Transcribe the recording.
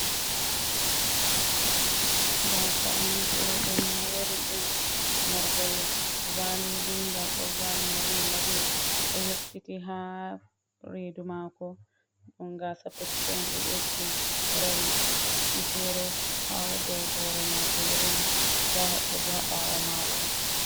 Gasa’on ɓe do mori ɗum morgol validi ga ɗo vali morimorli do yoftiti ha redu mako ɗun gasapuccu on ɓe ɓeddi horel bi fere hau dow hore mako yirli nda woɓɓe bo ha ɓawo mako.